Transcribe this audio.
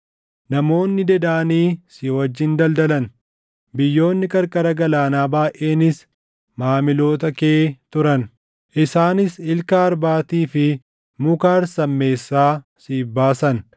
“ ‘Namoonni Dedaanii si wajjin daldalan; biyyoonni qarqara galaanaa baayʼeenis maamiloota kee turan; isaanis ilka arbaatii fi muka harsammeessaa siif baasan.